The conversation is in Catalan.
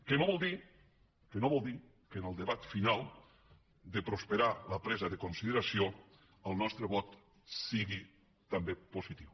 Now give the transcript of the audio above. que no vol dir que no vol dir ho que en el debat final de prosperar la presa de consideració el nostre vot sigui també positiu